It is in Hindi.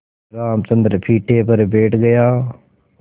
रामचंद्र पीढ़े पर बैठ गया